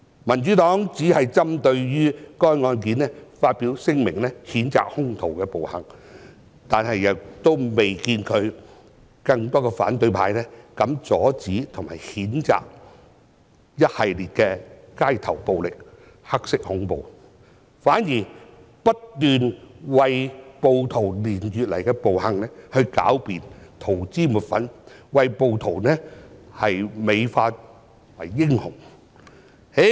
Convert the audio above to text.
民主黨只針對該案件發表聲明，譴責兇徒的暴行，卻未看到有更多反對派人士膽敢阻止和譴責一系列的街頭暴力、"黑色恐怖"，反而不斷為暴徒連月來的暴行狡辯、塗脂抹粉，把暴徒美化為英雄。